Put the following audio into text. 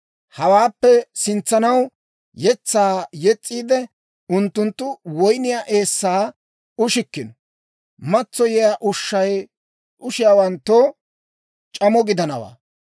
Hawaappe sintsanaw yetsaa yes's'iid, unttunttu woyniyaa eessaa ushikkino; matsoyiyaa ushshay ushiyaawanttoo c'amo gidanawaa.